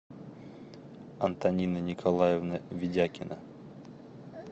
антонина николаевна ведякина